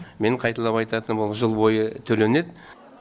мен қайталап айтатыным ол жыл бойы төленеді